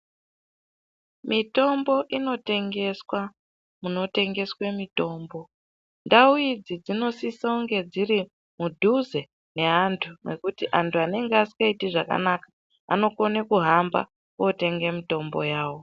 Mitombo inotengeswa munotengeswa mitombo ndau idzi dzinosisa kunge dziri mudhuze nevantu nekuti antu anenge asingaiti zvakanaka anokona kuhamba kotenga mitombo yawo.